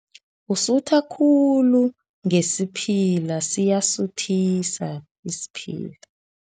Usuthe khulu ngesiphila, siyasuthisa isiphila.